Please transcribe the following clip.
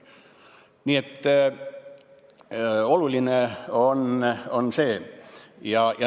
Nii et oluline on see.